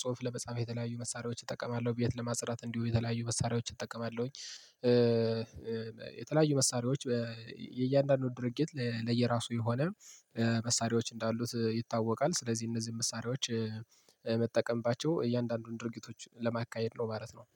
ጽሁፍ ለመጻፍ የተለያዩ መሳሪያዎች እጠቀማለሁ። ቤት ለማጽዳት እንዲሁ የተለያዩ መሳሪያዎች እጠቀማለሁ። የተለያዩ መሳሪያዎች የእያንዳንዱ ድርጊት ለየራሱ የሆነ መሳሪያዎች እንዳሉት ይታወቃል። ስለዚህ እነዚህን መሳሪያዎች ምጠቀምባቸው እያንዳንዱን ድርጊቶች ለማካሄድ ነው ማለት ነው